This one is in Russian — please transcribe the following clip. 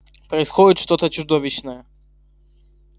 происходит что-то чудовищное